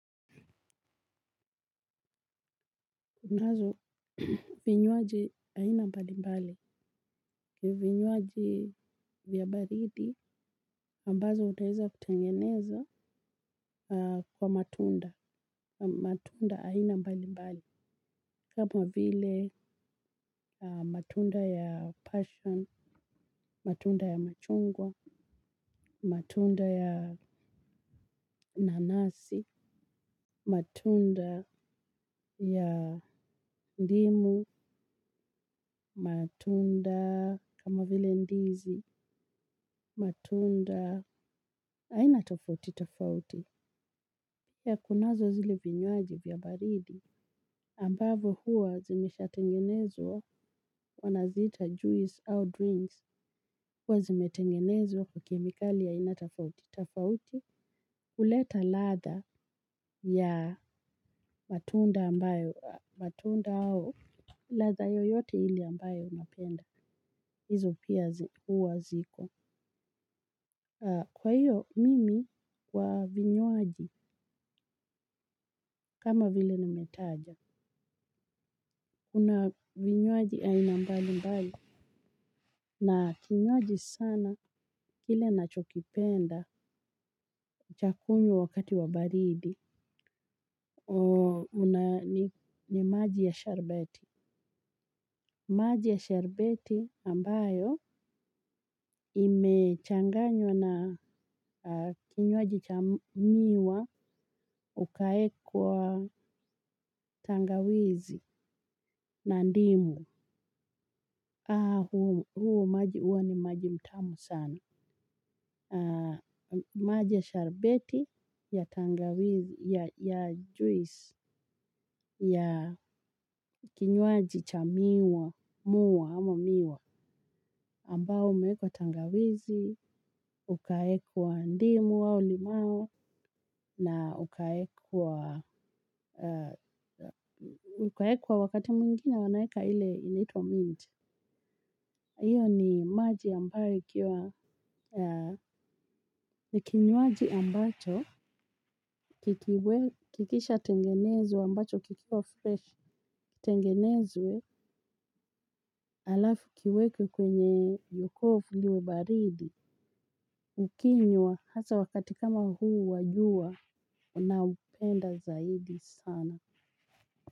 Tunazo vinywaji aina mbali mbali. Vinywaji vya baridi ambazo utaeza kutengeneza kwa matunda. Matunda aina mbali mbali. Kama vile matunda ya passion, matunda ya machungwa, matunda ya nanasi, matunda ya ndimu, matunda kama vile ndizi, matunda aina tofauti tofauti. Pia kunazo zile vinywaji vya baridi ambavyo huwa zimesha tengenezwa wanaziita juice au drinks huwa zimetengenezwa kwa kemikali ya aina tofauti tofauti huleta ladha ya matunda ambayo. Matunda au ladha yoyote ile ambayo unapenda. Hizo pia huwa ziko. Kwa hiyo, mimi kwa vinywaji, kama vile nimetaja. Kuna vinywaji aina mbali mbali. Na kinywaji sana, kile ninacho kipenda, cha kunywa wakati wa baridi. Una ni maji ya sharubati. Maji ya sharubati ambayo imechanganywa na kinywaji cha miwa ukaekwa tangawizi na ndimu. Haa huo huo maji huwa ni maji mtamu sana. Maji ya sharubati ya tangawizi ya juisi ya kinywaji cha miwa muwa ama miwa ambao umewekwa tangawizi ukawekwa ndimu au limao ukawekwa wakati mwingine wanaeka ile inaitwa mint hio ni maji ambayo ikiwa kinywaji ambacho kikisha tengenezwa ambacho kikiwa fresh tengenezwe alafu kiwekwe kwenye yokovu liwe baridi ukinywa hasa wakati kama huu wajua unaupenda zaidi sana.